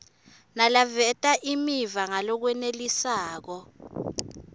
naleveta imiva ngalokwenelisako